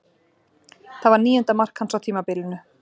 Það var níunda mark hans á tímabilinu.